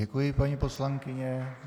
Děkuji, paní poslankyně.